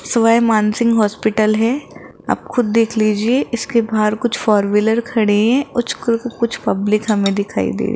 स्वयं मानसिंह हॉस्पिटल है आप खुद देख लीजिए इसके बाहर कुछ फोर व्हीलर खड़े है कुछ पब्लिक हमे दिखाई दे --